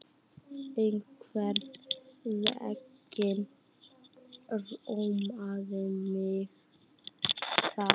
Einhvern veginn rámaði mig í það